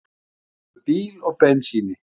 Stálu bíl og bensíni